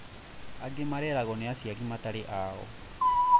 Angĩ mareragwo ni aciari matarĩ ao